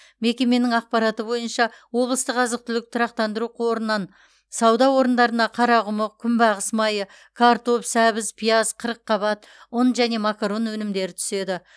мекеменің ақпараты бойынша облыстық азық түлік тұрақтандыру қорынан сауда орындарына қарақұмық күнбағыс майы картоп сәбіз пияз қырыққабат ұн және макарон өнімдері түседі